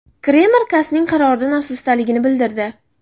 Kreml CAS’ning qaroridan afsusdaligini bildirdi.